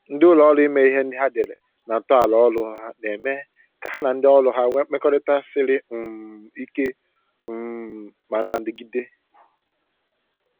Ndị ụlọ ọrụ ime ihe ndị ha dere na ntọala ọrụ ha na-eme ka ha ndị ọrụ ha nwe mmekọrịta siri um ike um ma na-adịgide